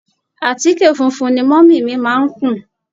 Àtíkè funfun ni múmì mi má ń kùn